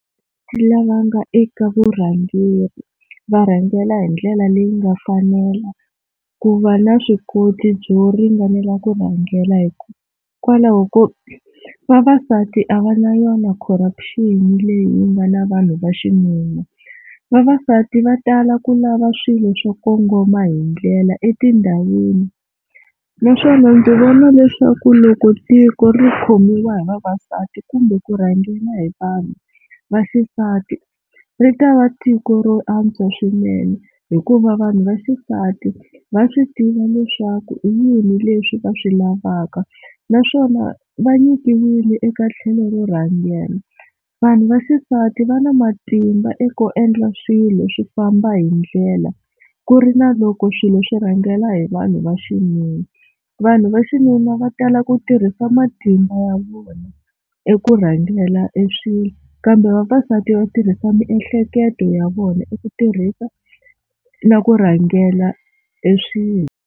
Lava nga eka vurhangeri va rhangela hi ndlela leyi nga fanela ku va na swi koti byo ringanela ku rhangela hikwalaho ko vavasati a va na yona corruption leyi nga na vanhu va xinuna, vavasati va tala ku lava swilo swa kongoma hi ndlela etindhawini naswona ndzi vona leswaku loko tiko ri khomiwa hi vavasati kumbe ku rhangela hi vanhu vaxisati ri ta va tiko ro antswa swinene hikuva vanhu va xisati va swi tiva leswaku i yini leswi va swi lavaka naswona va nyikiwile eka tlhelo ro rhangela, vanhu vaxisati va na matimba eku endla swilo swi famba hi ndlela ku ri na loko swilo swi rhangela hi vanhu va xinuna, vanhu va xinuna va tala ku tirha va matimba ya vona eku rhangela e swilo kambe vavasati va tirhisa miehleketo ya vona i ku tirhisa na ku rhangela e swilo.